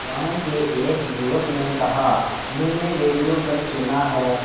गांव के एक युवक ने कहा मैंने रेडियो पर सुना है